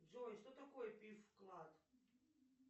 джой что такое пиф вклад